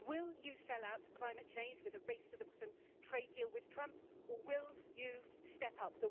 Will you sell out climate change with a race to the bottom trade deal with Trump or will you step up?'